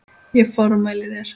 Ég formæli þér